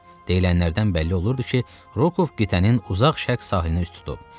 Deyilənlərdən bəlli olurdu ki, Rokov qitənin uzaq şərq sahilinə üz tutub.